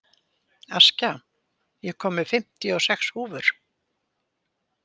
Askja, ég kom með fimmtíu og sex húfur!